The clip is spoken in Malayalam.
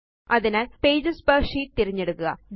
അതിനാല് പേജസ് പെർ ഷീറ്റ് തിരഞ്ഞെടുക്കുക